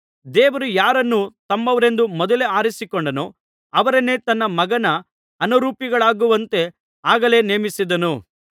ದೇವರು ಯಾರನ್ನು ತಮ್ಮವರೆಂದು ಮೊದಲೇ ಆರಿಸಿಕೊಂಡನೋ ಅವರನ್ನು ತನ್ನ ಮಗನ ಅನುರೂಪಿಗಳಾಗುವಂತೆ ಆಗಲೇ ನೇಮಿಸಿದನು